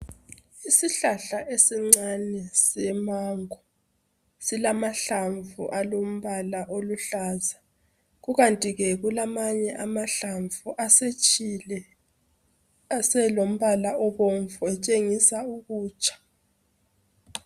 Isihlahla esincane semango. Silamahlamvu alombala oluhlaza. Kukanti ke kulamanye amahlamvu asetshile aselombala obomvu otshengisa ukutsha